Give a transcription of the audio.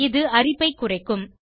இது அரிப்பைக் குறைக்கும்